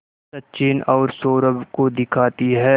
सचिन और सौरभ को दिखाती है